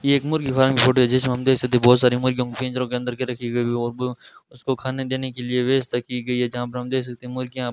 ये एक मुर्गी फार्म की फोटो है जिसमें हम देख सकते हैं बहोत सारी मुर्गियों को पिंजरों के अंदर रखी गई उसको खाने देने के लिए व्यवस्था की गई है जहां पर हम दे सकते है मुर्गियां --